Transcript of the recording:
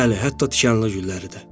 Bəli, hətta tikanlı gülləri də.